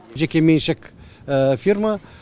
жекеменшік фирма